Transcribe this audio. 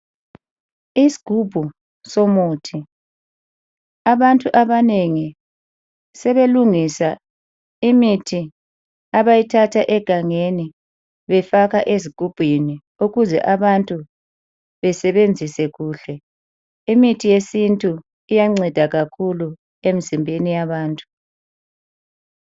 Isigubhu somuthi. Abantu abanengi sebelungisa imithi abayithatha egangeni befaka ezigubhini ukuze abantu besebenzise kuhle. Imithi yesintu iyanceda kakhulu emzimbeni yabantu.